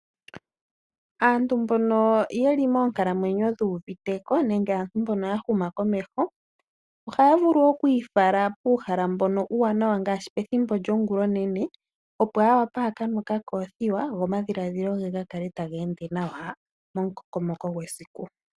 Aantu mbono yeli moonkalamwenyo dhuuviteko nenge aantu mbono yahuma komeho, ohaya vulu okwiifala puuhala mbono uuwanawa ngaashi, pethimbo lyongula onene opo yawape yakanwe okakoothiwa go omadhiladhilo ge gakale taga ende nawa momukokomoko gwesiku.